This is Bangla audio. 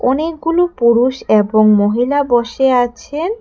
অনেকগুলো পুরুষ এবং মহিলা বসে আছেন।